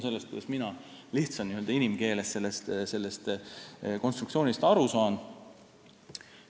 See oleks n-ö inimkeelne selgitus, kuidas mina sellest konstruktsioonist aru saan.